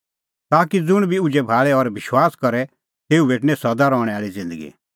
ताकि ज़ुंण बी उझै भाल़े और विश्वास करे तेऊ भेटणीं सदा रहणैं आल़ी ज़िन्दगी